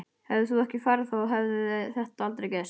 Hefðir þú ekki farið þá hefði þetta aldrei gerst.